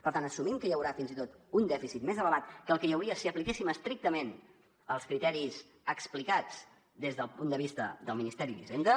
per tant assumim que hi haurà fins i tot un dèficit més elevat que el que hi hauria si apliquéssim estrictament els criteris explicats des del punt de vista del ministeri d’hisenda